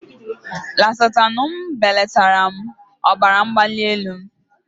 Losatanu belatara ọbara mgbali m.